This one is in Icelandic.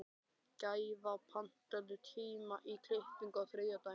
Gæfa, pantaðu tíma í klippingu á þriðjudaginn.